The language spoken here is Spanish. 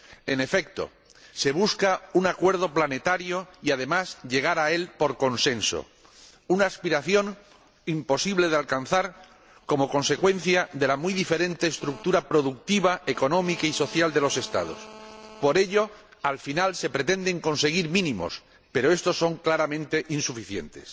En efecto, se busca un acuerdo planetario y, además, llegar a él por consenso, una aspiración imposible de alcanzar como consecuencia de la muy diferente estructura productiva, económica y social de los Estados. Por ello, al final se pretenden conseguir mínimos, pero estos son claramente insuficientes.